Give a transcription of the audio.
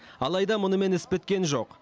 алайда мұнымен іс біткен жоқ